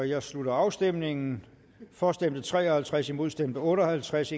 jeg slutter afstemningen for stemte tre og halvtreds imod stemte otte og halvtreds